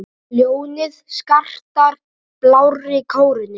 Ljónið skartar blárri kórónu.